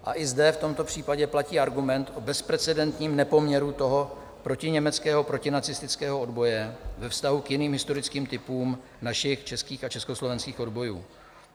A i zde, v tomto případě, platí argument o bezprecedentním nepoměru toho protiněmeckého, protinacistického odboje ve vztahu k jiným historickým typům našich českých a československých odbojů.